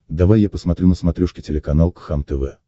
давай я посмотрю на смотрешке телеканал кхлм тв